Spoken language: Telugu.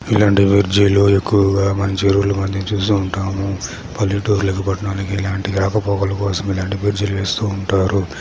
ఇలాంటి బ్రిడ్జి లు ఎక్కువగా మంచి ఊర్ల మధ్య మనం చూస్తూ ఉంటాము పల్లెటూర్లకి పట్నాలకి ఇలాంటి రాకపోకల కోసం ఇలాంటి బ్రిడ్జ్ లు వేస్తూ ఉంటారు.